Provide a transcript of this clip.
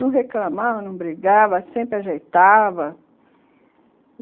Não reclamava, não brigava, sempre ajeitava.